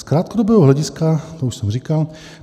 "Z krátkodobého hlediska..." to už jsem říkal...